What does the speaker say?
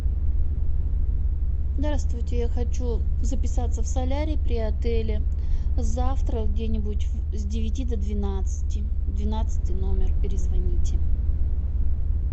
здравствуйте я хочу записаться в солярий при отеле завтра где нибудь с девяти до двенадцати двенадцатый номер перезвоните